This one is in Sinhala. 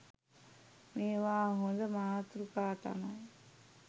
මේවා හොඳ මාතෘකා තමයි.